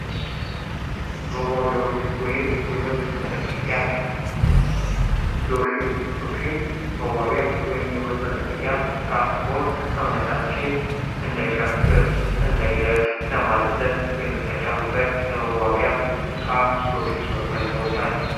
መዋቢያዎች ወይም የውበት መጠበቂያ ሎሽን ሎሽን፦ መዋቢያ ወይም ውበት መጠበቂያ ዕቃ ሲሆን ሰውነታችን እንዳይደርቅ ወይም እንዳይሻክር ለማለስለስ የምንጠቀምበት የመዋቢያ ዕቃ ሎሽን በመባል ይታወቃል።